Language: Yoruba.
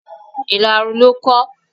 Ìlarun ló kán.